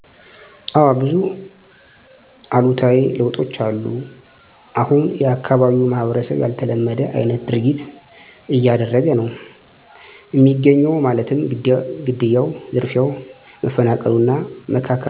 እዎ ብዙ እሉታዊ ለውጦች አሉ እሁን የአካባቢው ማህበረሰብ ያልተለመደ አይነት ድርጊት እያደረገ ነው እሚገኘው ማለትም ግድያው፣ ዝርፊያው፣ መፈናቀሉ እና መካካዱ በጣም አፀያፊ ነው።